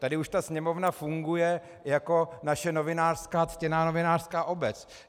Tady už ta sněmovna funguje jako naše ctěná novinářská obec.